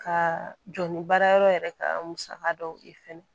Ka jɔ ni baara yɔrɔ yɛrɛ ka musaka dɔw ye fɛnɛ